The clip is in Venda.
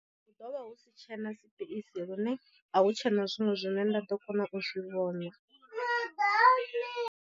Hu ḓovha hu si tshena sipeisi lune a hu tshena zwiṅwe zwine nda ḓo kona u zwi vhona.